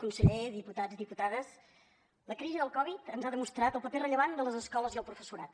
conseller diputats i diputades la crisi del covid ens ha demostrat el paper rellevant de les escoles i el professorat